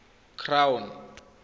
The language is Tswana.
crown